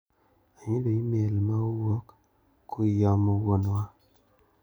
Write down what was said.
Ayudo imel ma owuok kuiom Wuon wa.